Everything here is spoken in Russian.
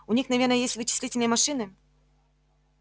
у них наверное есть вычислительные машины